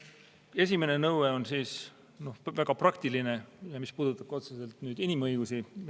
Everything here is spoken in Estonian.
Esimene nõue on väga praktiline, puudutab otseselt inimõigusi.